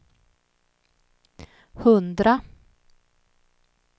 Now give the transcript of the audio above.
hundra